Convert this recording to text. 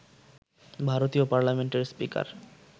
ভারতীয় পার্লামেন্টের স্পিকার